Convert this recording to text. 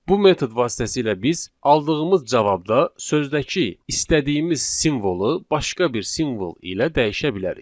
Bu metod vasitəsilə biz aldığımız cavabda sözdəki istədiyimiz simvolu başqa bir simvol ilə dəyişə bilərik.